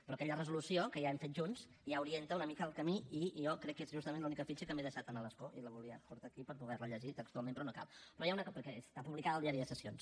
però aquella resolució que ja hem fet junts ja orienta una mica el camí i jo crec que és justament l’única fitxa que m’he deixat a l’escó i la volia portar aquí per poder la llegir textualment però no cal perquè està publicada al diari de sessions